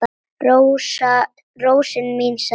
Rósin mín, sagði Lási.